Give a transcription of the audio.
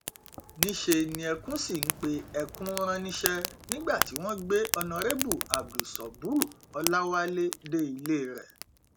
níṣẹ ni ẹkùn sì ń pe ẹkùn rán níṣẹ nígbà tí wọn gbé honorébù abdul sọbúrúọláwálẹ dé ilé rẹ